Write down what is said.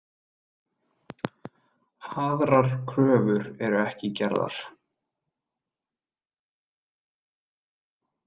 Aðrar kröfur eru ekki gerðar.